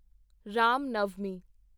Ram Navami